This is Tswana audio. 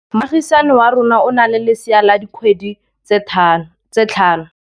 Moagisane wa rona o na le lesea la dikgwedi tse tlhano.